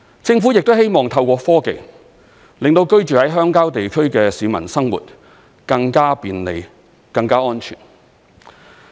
政府亦希望透過科技，令到鄉郊地區的居民生活更加便利、更加安全。